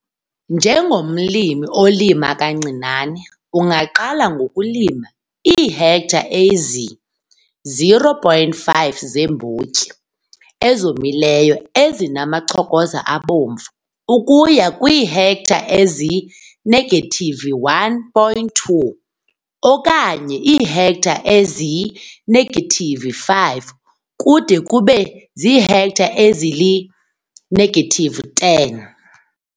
Njengomlimi olima kancinane, ungaqala ngokulima iihektare ezi 0,5 zeembotyi ezomileyo ezinamachokoza abomvu ukuya kwihektare e-1, 2 okanye iihektare ezi-5, kude kube ziihektare ezili-10.